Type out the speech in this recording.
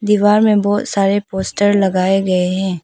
दीवार में बहुत सारे पोस्टर लगाए गए हैं।